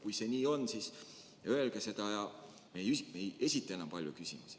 Kui see nii on, siis öelge seda ja me ei esita enam palju küsimusi.